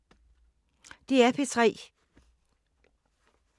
DR P3